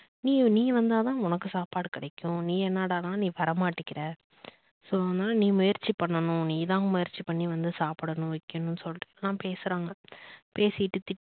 நீ நீ வந்தா தான் உனக்கு சாப்பாடு கிடைக்கும் நீ என்னடானா நீ வர மாட்டேங்குற so அதனால நீ முயற்சி பண்ணனும் நீ தான் முயற்சி பண்ணி வந்து சாப்பிடணும் வைக்கணும் அப்படின்னு சொல்லிட்டு எல்லாம் பேசுறாங்க பேசிட்டு திட்டு